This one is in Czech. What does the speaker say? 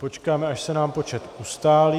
Počkáme, až se nám počet ustálí...